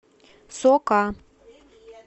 сока